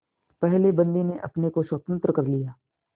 पहले बंदी ने अपने को स्वतंत्र कर लिया